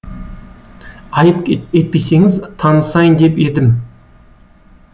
айып етпесеңіз танысайын деп едім